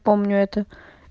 помню это